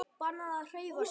Bannað að hreyfa sig.